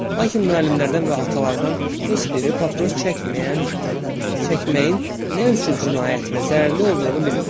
Lakin müəllimlərdən və atalardan heç biri papiros çəkməyən, çəkməyin nə üçün cinayət və zərərli olduğunu bilmirdi.